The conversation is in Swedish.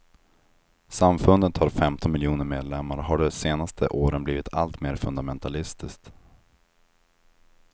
Samfundet har femton miljoner medlemmar och har de senaste åren blivit alltmer fundamentalistiskt.